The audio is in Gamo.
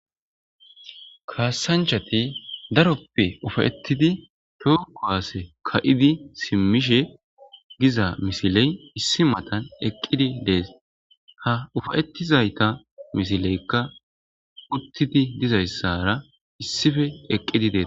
Kaassanchati daroppe uuffayettidi toho kuwase ka'idi simmishe giza misiley issi matan eqqidi dees ha uffayettizayta misileykka uuttidi dizayssara issippe eqqidi dees